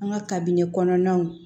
An ka kabini kɔnɔnaw